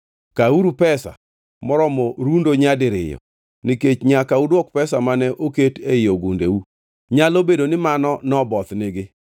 Kawuru pesa moromo rundo nyadiriyo, nikech nyaka uduoki pesa mane oket ei ogundeu. Nyalo bedo ni mano nobothnigi.